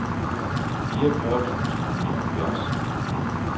fireogfyrre tusind og nioghalvfjerds